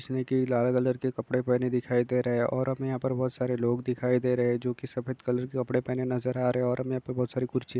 जिसने की लाल कलर के कपड़े पहने दिखाई दे रहे हैं और हमें यहाँ पर बहुत सारे लोग दिखाई दे रहे हैं जो कि सफेद कलर के कपड़े पहने नजर आ रहे हैं और हमें यहां पे बहुत सारी कुर्सी--